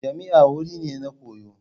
Jami'a wuri ne na koyo.